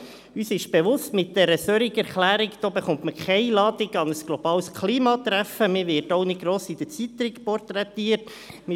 Wir sind uns bewusst, dass man mit einer solchen Erklärung keine Einladung an ein globales Klimatreffen erhält und auch nicht gross in den Zeitungen porträtiert wird.